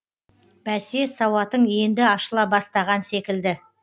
бәсе сауатың енді ашыла бастаған секілді